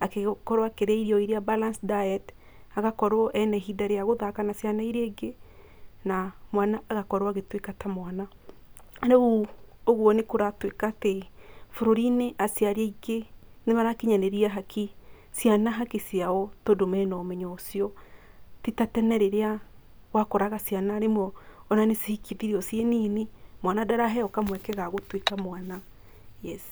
agĩkorwo akĩrĩa irio irĩa balanced diet, agakorwo ena ihinda rĩa gũthaka na ciana iria ingĩ na mwana agakorwo agĩtuĩka ta mwana, rĩu ũguo nĩ kũratuĩka atĩ bũrũrinĩ aciaria ingĩ nĩ marakinyanĩria ciana haki ciao tondũ mena ũmenyo ũcio, ti ta tene rĩrĩa wakoraga ciana nĩmo ona cihikithirwe ciĩ nini, mwana ndaraheo kamweke ga gũtuĩka mwana. Yes.